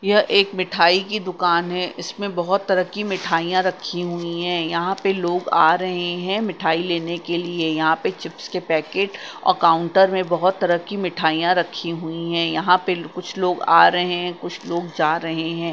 यह एक मिठाई की दुकान है इसमें बहोत तरह की मिठाइयां रखी हुई है यहां पे लोग आ रहे हैं मिठाई लेने के लिए यहां पे चिप्स के पैकेट अ काउंटर में बहोत तरह की मिठाइयां रखी हुई है यहां पे कुछ लोग आ रहे हैं कुछ लोग जा रहे हैं।